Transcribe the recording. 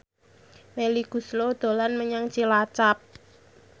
Melly Goeslaw dolan menyang Cilacap